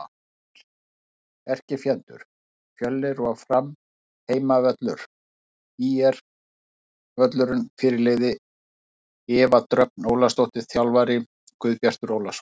ÍR: Erkifjendur: Fjölnir og Fram Heimavöllur: ÍR-völlurinn Fyrirliði: Eva Dröfn Ólafsdóttir Þjálfarar: Guðbjartur Ólafsson